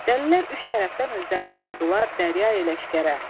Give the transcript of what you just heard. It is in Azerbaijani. Dəlilər üç tərəfdən özlərini vurdular Dərya ilə Şəkərə.